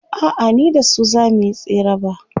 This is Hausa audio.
a'a ni da su zamuyi tsere ba